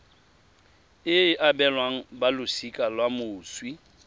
e abelwang balosika la moswi